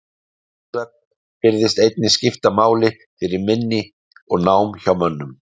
REM-svefn virðist einnig skipta máli fyrir minni og nám hjá mönnum.